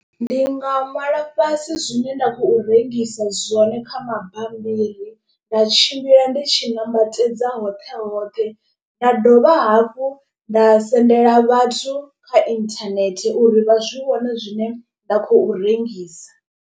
Ndi nga ṅwala fhasi zwine nda khou rengisa zwone kha mabambiri nda tshimbila ndi tshi nambatedza hoṱhe hoṱhe. Nda dovha hafhu nda sendela vhathu kha internet uri vha zwi vhone zwine nda khou rengisa.